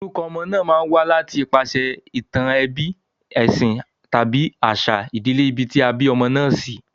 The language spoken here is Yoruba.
Orukọ ọmọ ma n wá láti ipasè ìtàn ebí, èsìn tàbí àsà ìbílè ibi tí a bí ọmọ náà sí